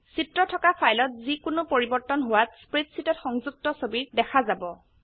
চিত্ৰ থকা ফাইলত যি কোনো পৰিবৰ্তন হোৱাত স্প্ৰেডশীটত সংযুক্ত ছবিত দেখা যাব